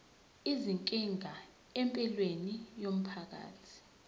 izinkinga empilweni yomphakathi